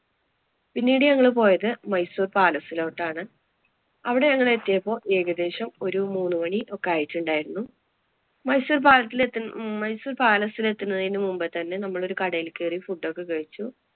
പിന്നീട് ഞങ്ങള്‍ പോയത് മൈസൂര്‍ palace ലോട്ടാണ്. അവിടെ ഞങ്ങള്‍ എത്തിയപ്പോള്‍ ഒരു ഏകദേശം ഒരു മൂന്നുമണി ഒക്കെ ആയിട്ടുണ്ടായിരുന്നു. മൈസൂര്‍ palace എത്തുന്ന~ മൈസൂര്‍ palace ല്‍ എത്തുന്നതിന് മുമ്പേ തന്നെ നമ്മള് ഒരു കടയില് കയറി food ഒക്കെ കഴിച്ചു.